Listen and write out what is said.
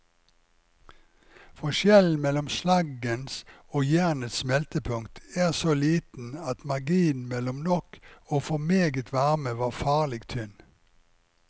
Forskjellen mellom slaggens og jernets smeltepunkt er så liten at marginen mellom nok og for meget varme var farlig tynn.